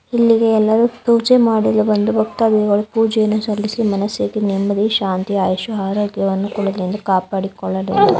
ಇಲ್ಲಿಗೆ ಎಲ್ಲರು ಪೂಜೆ ಮಾಡಲು ಬಂಡ ಬಕೆಡದಿಯಾಗಲು ಪೂಜೆಯನ್ನು ಸಲ್ಲಿಸಿ ಮನಸಿಗೆ ಶಾಂತಿ ನೆಮ್ಮದಿ ಅಯಷು ಅರೋಗ್ಯವನ್ನು ಕೊಡಿ ಎಂದು ಕಾಪಾಡಿಕೊಳ್ಳೂ ಎಂದು --